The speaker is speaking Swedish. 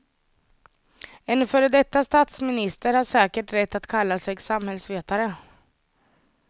En före detta statsminister har säkert rätt att kalla sig samhällsvetare.